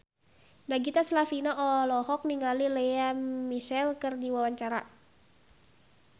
Nagita Slavina olohok ningali Lea Michele keur diwawancara